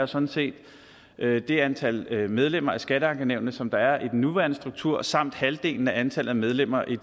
sådan set er det antal medlemmer af skatteankenævnene som der er i den nuværende struktur samt halvdelen af antallet af medlemmer i